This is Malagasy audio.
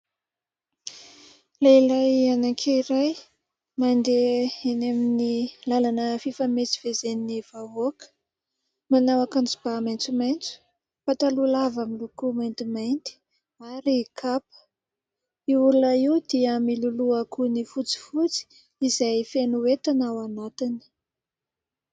Lehilahy anankiray mandeha eny amin'ny lalana fifamezivezen'ny vahoaka, manao akanjo ba maitsomaitso, pataloha lava miloko maintimainty ary kapa. Io olona io dia miloloha gony fotsifotsy izay feno entana ao anatiny.